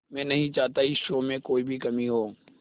मैं नहीं चाहता इस शो में कोई भी कमी हो